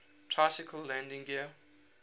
tricycle landing gear